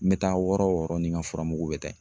N bɛ taa wɔɔrɔ o wɔɔrɔ ni n ka furamugu bɛ taa yen.